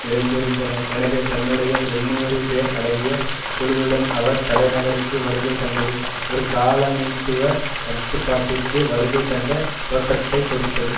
நிறைந்திருந்தன எனவே தன்னுடைய எழுநூறு பேர் அடங்கிய குழுவுடன் அவர் தலைநகருக்கு வருகை தந்தது ஒரு காலனித்துவ கட்டுப்பாட்டிற்கு வருகை தந்த தோற்றத்தை கொடுத்தது